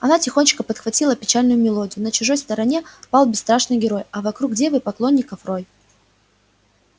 она тихонечко подхватила печальную мелодию на чужой стороне пал бесстрашный герой а вокруг девы поклонников рой